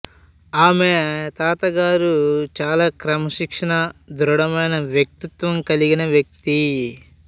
ఆమె తాతగారు చాలా క్రమశిక్షణ దృఢమైన వ్యక్తిత్వం కలిగిన వ్యక్తి